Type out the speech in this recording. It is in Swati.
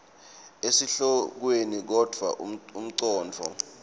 esihlokweni kodvwa umcondvo